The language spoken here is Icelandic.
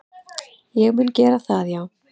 Ég mun gera það já,